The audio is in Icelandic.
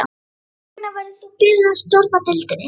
Þess vegna verður þú beðinn að stjórna deildinni